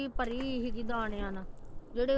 ਭਰੀ ਸੀਗੀ ਦਾਣਿਆਂ ਨਾਲ ਜਿਹੜੇ